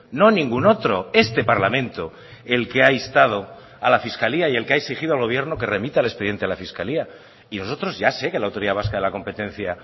no ningún otro este parlamento el que ha instado a la fiscalía y el que ha exigido al gobierno que remita el expediente a la fiscalía y nosotros ya sé que la autoridad vasca de la competencia